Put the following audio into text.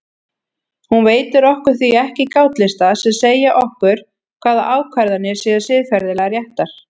Hún veitir okkur því ekki gátlista sem segja okkur hvaða ákvarðanir séu siðferðilega réttar.